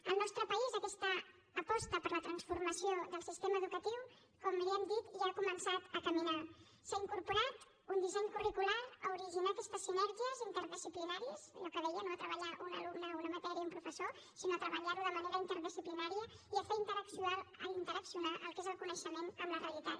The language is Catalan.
al nostre país aquesta aposta per la transformació del sistema educatiu com li hem dit ja ha començat a caminar s’ha incorporat un disseny curricular a originar aquestes sinèrgies interdisciplinàries allò que dèiem no a treballar un alumne una matèria un professor sinó a treballar ho de manera interdisciplinària i a fer interaccionar el que és el coneixement amb la realitat